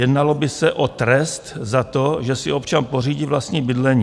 Jednalo by se o trest za to, že si občan pořídí vlastní bydlení.